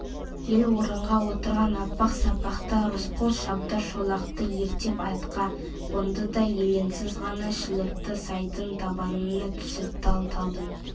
ел орынға отырған апақ-сапақта рысқұл шабдар шолақты ерттеп атқа қонды да елеңсіз ғана шілікті сайдың табанына түсіп тал-талдың